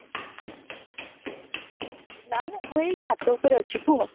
ନା ନା ମୁଁ ଏଇ ଛାତ ଉପରେ ଅଛି କୁହ